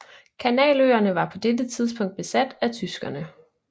Kanaløerne var på dette tidspukt besat af tyskerne